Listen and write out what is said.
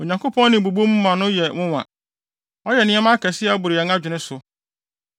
Onyankopɔn nne bobɔ mu ma no yɛ nwonwa; ɔyɛ nneɛma akɛse a ɛboro yɛn adwene so.